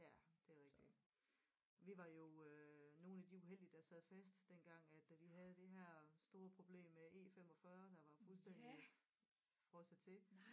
Ja det er rigtig vi var jo øh nogle af de uheldige der sad fast dengang at da de havde det her store problem med E45 der var fuldstændig frosset til